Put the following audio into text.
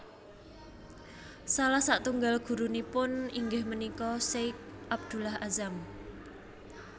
Salah satunggal gurunipun inggih punika Sheikh Abdullah Azzam